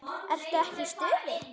Ertu ekki í stuði?